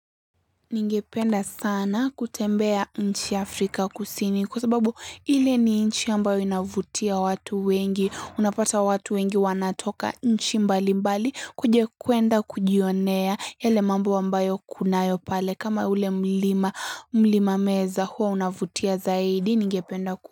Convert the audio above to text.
Ningependa sana kutembea nchi Afrika kusini kwa sababu hile ni nchi ambayo inavutia watu wengi, unapata watu wengi wanatoka nchi mbali mbali kwenda kujionea yale mambo ambayo kunayo pale kama ule mlima, mlima meza huwa unavutia zaidi.